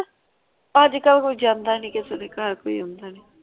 ਅੱਜ ਕਲ ਕੋਈ ਜਾਂਦਾ ਨਈ ਕਿਸੇ ਦੇ ਘਰ ਕੋਈ ਆਉਂਦਾ ਨਈ।